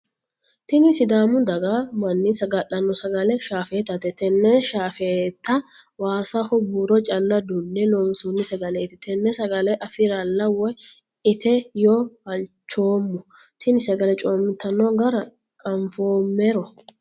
Tinni sidaamu daga manni saga'lano sagale shaafeetate. Tenne shaafeeta waassaho buuro calla Dunne loonsanni sagaleete tenne sagale afirela woyi itto yee halchoomo. Tinni sagale coomitanno gara afinoomero.